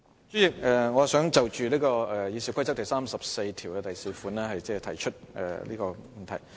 主席，我想就《議事規則》第344條提出問題。